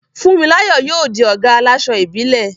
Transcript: Funmilayo yóò di ọ̀gá àláṣọ ìbílẹ̀.